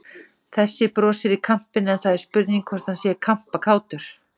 Þessi brosir í kampinn en það er spurning hvort hann sé kampakátur!